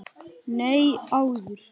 Nei, áður.